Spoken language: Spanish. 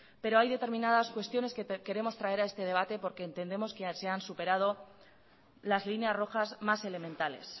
pero hay determinadas cuestiones que queremos traer a este debate porque entendemos que se han superado las líneas rojas más elementales